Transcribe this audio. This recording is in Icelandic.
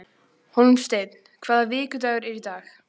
Hólmsteinn, hvaða vikudagur er í dag?